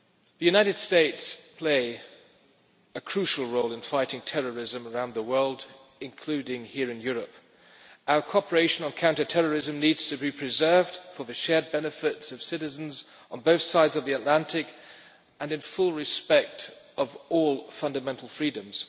The United States play a crucial role in fighting terrorism around the world, including here in Europe. Our cooperation on counter terrorism needs to be preserved for the shared benefits of citizens on both sides of the Atlantic, and in full respect of all fundamental freedoms.